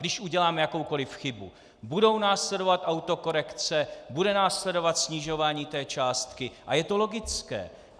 Když uděláme jakoukoliv chybu, budou následovat autokorekce, bude následovat snižování té částky a je to logické.